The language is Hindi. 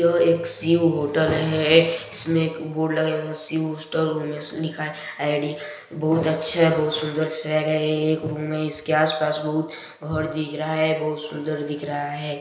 यह एक शिव होटल है इसमें एक बोर्ड लगा है उसमें शिव हॉस्टल लिखा है आइ_डी बहोत अच्छा बोहोत सुन्दर शहर है ये एक रूम है इसके आसपास बहुत घर दिख रहा है बहुत सुन्दर दिख रहा हैं ।